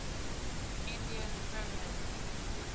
indian premier league